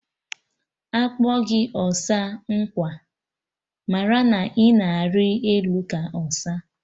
Akpọ gị ọsa nkwa, marụ na ịna ari elu ka ọsa